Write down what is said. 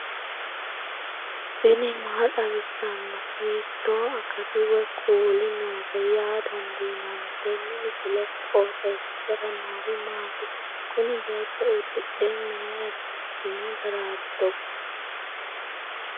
tini maa xawissanno ? hiitto akati woy kuuli noose yaa dandiinanni tenne misilera? qooxeessisera noori maati? kuni beetto uddidhe mayra biifino garaati togo